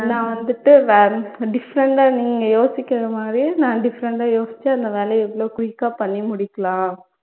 நான் வந்துட்டு வே different ஆ நீங்க யோசிக்கிற மாதிரி நான் different ஆ யோசிச்சு அந்த வேலைய எவ்வளவு quick ஆ முடிக்கலாம்